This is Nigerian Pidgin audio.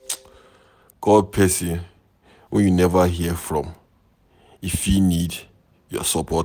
Call pesin wey you neva hear from, e fit need your support.